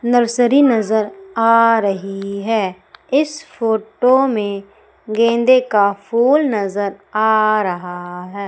Nursery नजर आ रही है इस फोटो में गेंदे का फूल नजर आ रहा है।